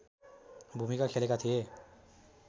भूमिका खेलेका थिए